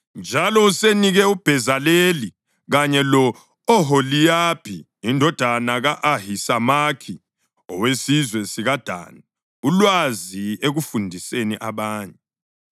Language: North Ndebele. Njalo usenike uBhezaleli kanye lo-Oholiyabhi indodana ka-Ahisamakhi, owesizwe sikaDani ulwazi ekufundiseni abanye.